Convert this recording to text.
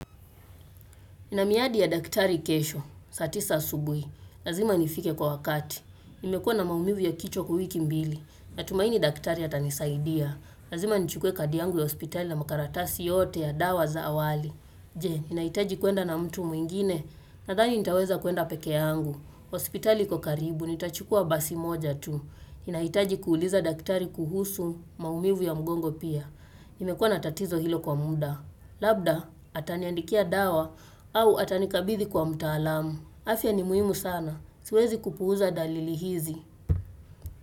Nina miadi ya daktari kesho, saa tisa asubuhi. Lazima nifike kwa wakati. Nimekuwa na maumivu ya kichwa kwa wiki mbili. Natumaini daktari atanisaidia. Lazima nichukue kadi yangu ya hospitali na makaratasi yote ya dawa za awali. Je, nahitaji kwenda na mtu mwingine? Nadhani nitaweza kwenda peke yangu. Hospitali iko karibu, nitachukua basi moja tu. Ninahitaji kuuliza daktari kuhusu maumivu ya mgongo pia. Nimekuwa na tatizo hilo kwa muda. Labda ataniandikia dawa au atanikabidhi kwa mtaalamu. Afya ni muhimu sana. Siwezi kupuuza dalili hizi.